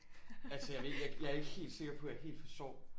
Altså jeg ved ikke jeg er ikke helt sikker på at jeg helt forstår